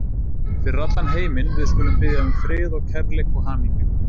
Fyrir allan heiminn, við skulum biðja um frið og kærleik og hamingju.